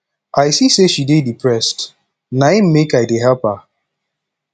i see sey she dey depressed na im make i dey help her